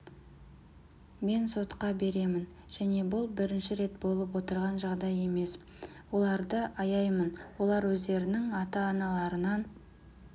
мен сотқа беремін және бұл бірінші рет болып отырған жағдай емес оларды аяймын олар өздерінің ата-аналарынан